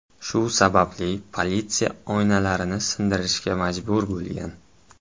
Shu sababli politsiya oynalarni sindirishga majbur bo‘lgan.